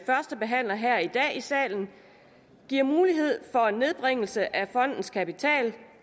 førstebehandler her i dag i salen giver mulighed for en nedbringelse af fondens kapital